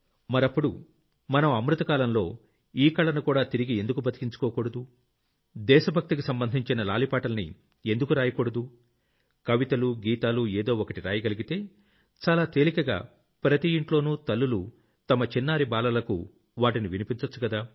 మరప్పుడు మనం అమృత కాలంలో ఈ కళనుకూడా తిరిగి బతికించుకోకూడదు దేశ భక్తికి సంబంధించిన లాలి పాటల్ని ఎందుకు రాయకూడదు కవితలు గీతాలు ఏదో ఒకటి రాయగలిగితే చాలా తేలికగా ప్రతి ఇంట్లోనూ తల్లులు తమ చిన్నారి బాలలకు వాటిని వినిపించొచ్చుకదా